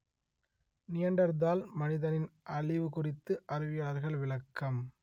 Neanderthal மனிதனின் அழிவு குறித்து அறிவியலாளர்கள் விளக்கம்